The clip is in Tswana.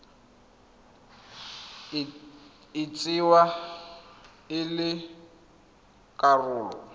e tsewa e le karolo